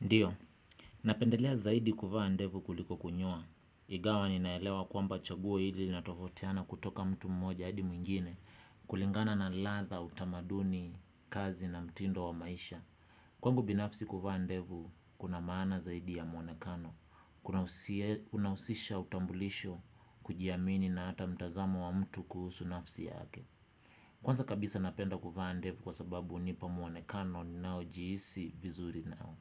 Ndio, napendelea zaidi kuvaa ndevu kuliko kunyoa. Ingawa ninaelewa kwamba chaguo hili linatofautiana kutoka mtu mmoja haidi mwingine. Kulingana na ladha utamaduni kazi na mtindo wa maisha. Kwangu binafsi kuvaa ndevu kuna maana zaidi ya mwonekano. Unahusisha utambulisho kujiamini na hata mtazamo wa mtu kuhusu nafsi yake. Kwanza kabisa napenda kuvaa ndevu kwa sababu hunipa mwonekano ninaojihisi vizuri nao.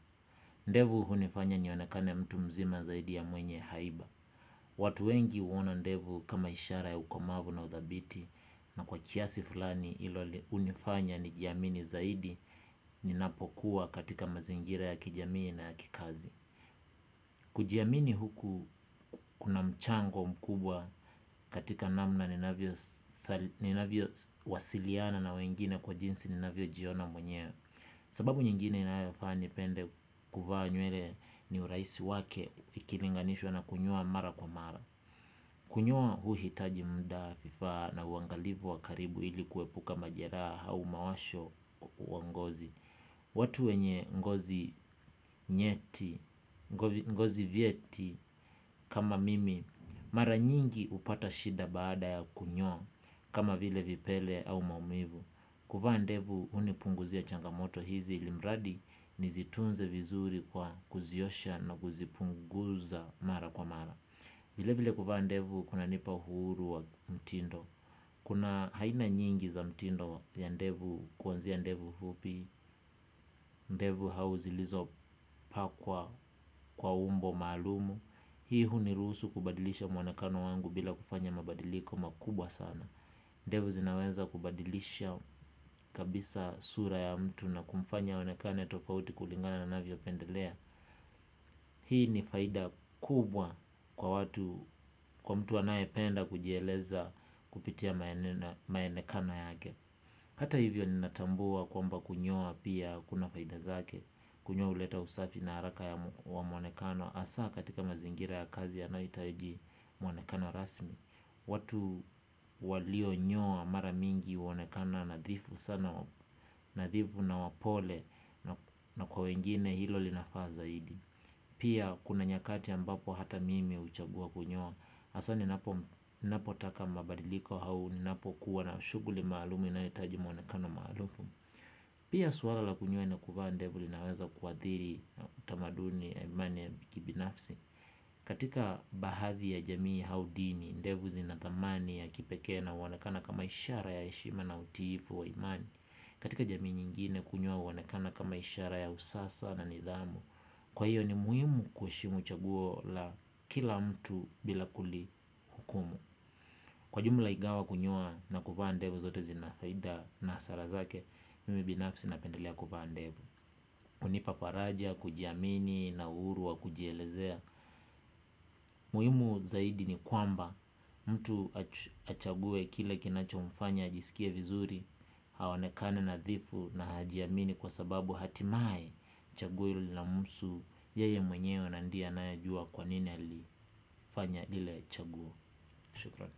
Ndevu hunifanya nionekane mtu mzima zaidi ya mwenye haiba. Watu wengi huona ndevu kama ishara ya ukomavu na uthabiti na kwa kiasi fulani hilo hunifanya nijiamini zaidi ninapokuwa katika mazingira ya kijamii na ya kikazi kujiamini huku kuna mchango mkubwa katika namna ninavyo wasiliana na wengine kwa jinsi ni navyojiona mwenyewe. Sababu nyingine inayofanya nipende kuvaa nywele ni urahisi wake ikilinganishwa na kunyoa mara kwa mara. Kunyoa huihitaji muda vifaa na uangalivu wa karibu ili kuepuka majeraha au mawasho wa ngozi. Watu wenye ngozi nyeti, ngozi vieti kama mimi mara nyingi hupata shida baada ya kunyoa kama vile vipele au maumivu. Kufaa ndevu hunipunguzia changamoto hizi ili mradi nizitunze vizuri kwa kuziosha na kuzipunguza mara kwa mara. Vilevile kuvaa ndevu kunanipa uhuru wa mtindo. Kuna aina nyingi za mtindo ya ndevu kuanzia ndevu fupi. Ndevu hau zilizo mpakwa kwa umbo maalumu. Hii huni ruhusu kubadilisha mwonakano wangu bila kufanya mabadiliko makubwa sana. Ndevu zinaweza kubadilisha kabisa sura ya mtu na kumfanya aonekane tofauti kulingana na anavyopendelea. Hii ni faida kubwa kwa mtu anayependa kujieleza kupitia maonekano yake hata hivyo ninatambua kwamba kunyoa pia kuna faida zake. Kunyoa huleta usafi na haraka wa mwonekano hasa katika mazingira ya kazi yanayohitaji mwonekano rasmi. Watu walionyoa mara mingi huonekana nadhifu sana nadhifu na wapole na kwa wengine hilo linafaa zaidi. Pia kuna nyakati ambapo hata mimi huchagua kunyoa hAsa ninapotaka mabadiliko au ninapokuwa na shughuli maalum inayohitaji mwonekano maarufu. Pia suala la kunyoa na kuvaa ndevu linaweza kuadhiri utamaduni ya imani ya kibinafsi. Katika baadhi ya jamii au dini, ndevu zinathamani ya kipekee na huonekana kama ishara ya heshima na utiifu wa imani. Katika jamii nyingine kunyoa huonekana kama ishara ya usasa na nidhamu. Kwa hiyo ni muhimu kuheshimu chaguo la kila mtu bila kuli hukumu. Kwa jumla ingawa kunyoa na kuvaa ndevu zote zina faida na hasara zake, mimi binafsi napendelea kuvaa ndevu hunipa faraja ya, kujiamini, na uhuru wa, kujielezea. Muhimu zaidi ni kwamba mtu achague kile kinachomfanya ajisikie vizuri aonekane nadhifu na ajiamini kwa sababu hatimaye chaguo hilo linamhusu yeye mwenyewe na ndiye anayejua kwa nini alifanya ile chaguo. Shukran.